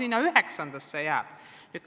Ka üheksandasse jääb teste.